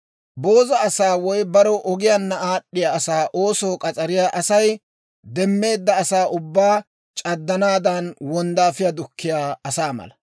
Booza asaa woy barew ogiyaanna aad'd'iyaa asaa oosoo k'as'ariyaa Asay demmeedda asaa ubbaa c'addanaadan wonddaafiyaa dukkiyaa asaa mala.